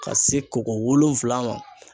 Ka se ko ko wolonwula ma.